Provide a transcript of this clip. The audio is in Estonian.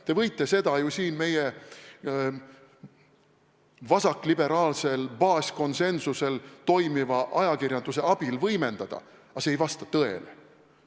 Te võite seda kõike meie vasakliberaalsel baaskonsensusel toimiva ajakirjanduse abil võimendada, aga see ei vasta tõele.